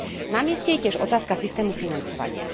Na mieste je tiež otázka systému financovania.